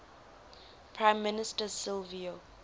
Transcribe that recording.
prime minister silvio